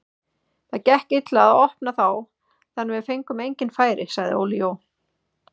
Það gekk illa að opna þá þannig við fengum engin færi, sagði Óli Jó.